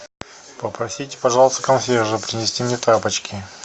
попросите пожалуйста консьержа принести мне тапочки